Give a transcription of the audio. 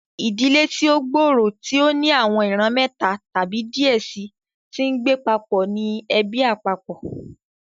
ìdílé tí o gbòòrò, tí o ní àwọn ìran méta tàbí diẹ síi tí ngbé papó ní ẹbí àpapọ.